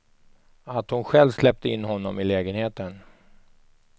Att hon själv släppte in honom i lägenheten.